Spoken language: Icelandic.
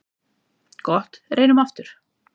Gott reynum aftur.